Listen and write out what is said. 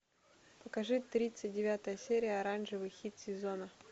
покажи тридцать девятая серия оранжевый хит сезона